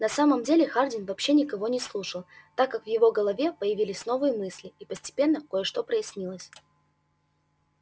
на самом деле хардин вообще никого не слушал так как в его голове появились новые мысли и постепенно кое-что прояснилось